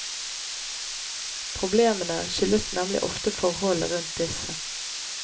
Problemene skyldes nemlig ofte forholdene rundt disse.